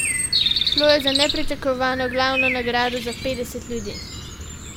Šlo je za nepričakovano glavno nagrado za petdeset ljudi.